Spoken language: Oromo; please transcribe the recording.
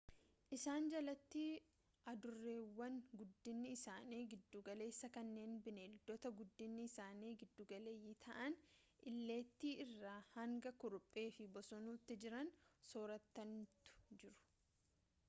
isaan jalatti adureewwan guddinni isaanii giddugaleessaa kanneen bineeldota guddinni isaanii giddugaleeyyii ta'an illeettii irraa hanga kurupheefi bosonuutti jiran sooratantu jiru